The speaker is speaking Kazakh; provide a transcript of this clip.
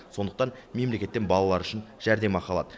сондықтан мемлекеттен балалары үшін жәрдемақы алады